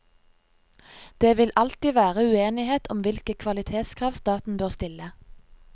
Det vil alltid være uenighet om hvilke kvalitetskrav staten bør stille.